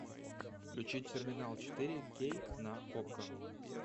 включи терминал четыре кей на окко